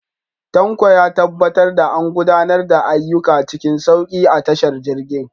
Tanko ya tabbatar da an gudanar da ayyuka cikin sauki a tashar jirgin.